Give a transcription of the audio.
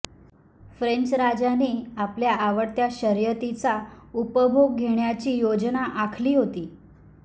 French राजाने आपल्या आवडत्या शर्यतीचा उपभोग घेण्याची योजना आखली होती